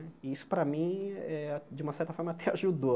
E isso, para mim eh, de uma certa forma até ajudou.